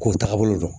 K'o tagabolo dɔn